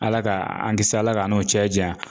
Ala k'an kisi Ala k'an n'o cɛ janya